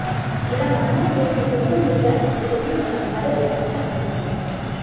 मेरा मानना है कि सोशल मीडिया स्ट्रैटेजी ने हमारे लिए अच्छा काम किया है